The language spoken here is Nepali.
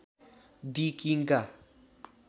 दि किङ्का